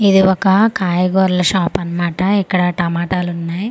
ఇది ఒక కాయగురాల షాప్ అన్నమాట ఇక్కడ టమాటాలు ఉన్నాయి .]